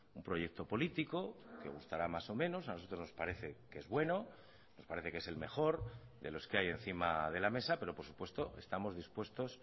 un proyecto político que gustará más o menos a nosotros nos parece que es bueno nos parece que es el mejor de los que hay encima de la mesa pero por supuesto estamos dispuestos